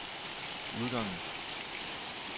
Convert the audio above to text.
udgangen